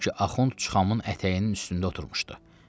Çünki Axund Çıxamın ətəyinin üstündə oturmuşdu.